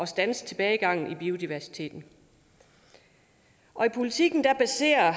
standse tilbagegangen i biodiversiteten politisk baserer